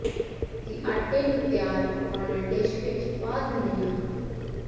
ਅਸੀਂ ਆਟੇ ਨੂੰ ਤਿਆਰ ਪਕਾਉਣਾ ਡਿਸ਼ ਵਿੱਚ ਪਾ ਦਿੰਦੇ ਹਾਂ